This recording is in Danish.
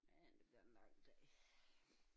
Men det bliver en lang dag